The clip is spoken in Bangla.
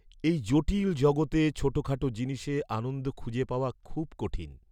এই জটিল জগতে ছোটখাটো জিনিসে আনন্দ খুঁজে পাওয়া খুব কঠিন।